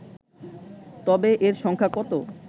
তবে এর সংখ্যা কত